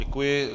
Děkuji.